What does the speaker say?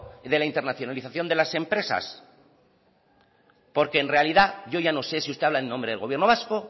de la internacionalización de las empresas porque en realidad yo ya no sé si usted habla en nombre del gobierno vasco